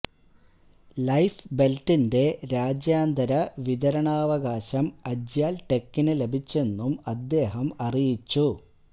life ബെല്റ്റിന്റെ രാജ്യാന്തര വിതരണാവകാശം അജ്യാല് ടെകിനു ലഭിച്ചെന്നും അദ്ദേഹം അറിയിച്ചു